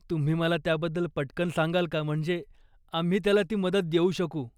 तुम्ही मला त्याबद्दल पट्कन सांगाल का, म्हणजे आम्ही त्याला ती मदत देऊ शकू.